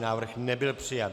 Návrh nebyl přijat.